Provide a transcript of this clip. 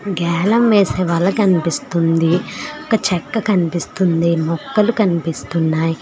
గ్యాలం వేసే వాళ్ళ కనిపిస్తుంది ఒక చెట్టు కనుపిస్తుంది మొక్కలు కనిపిస్తున్నాయి.